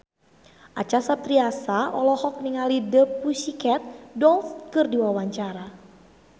Acha Septriasa olohok ningali The Pussycat Dolls keur diwawancara